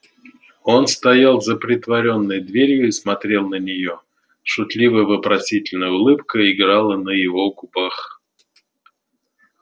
он стоял за притворенной дверью и смотрел на нее шутливо-вопросительная улыбка играла на его губах